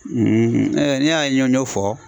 ni y'a ye n y'o fɔ.